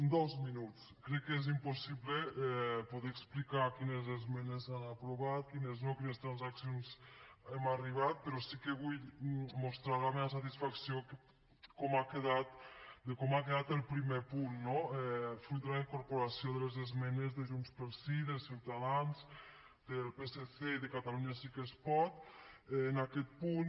en dos minuts crec que és impossible poder explicar quines esmenes s’han aprovat quines no a quines transaccions hem arribat però sí que vull mostrar la meva satisfacció de com ha quedat el primer punt no fruit de la incorporació de les esmenes de junts pel sí de ciutadans del psc i de catalunya sí que es pot en aquest punt